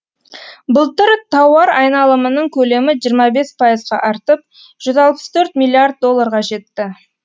былтыр тауар айналымының көлемі жиырма бес пайызға артып жүз алпыс төрт миллиард долларға жетті